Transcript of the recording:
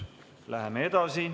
Läheme edasi.